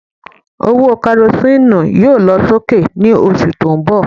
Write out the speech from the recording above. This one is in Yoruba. Owó Karosíìnù yóò lọ sókè ní oṣù tó ń bọ̀